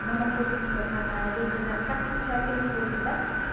мы находимся на репина как вы сказали тридцать восемь да